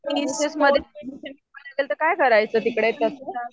काय करायचं तिकडे तसं?